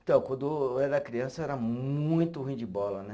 Então, quando eu era criança, era muito ruim de bola, né?